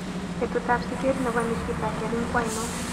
Betutap siget ne po nikita kering ko ainon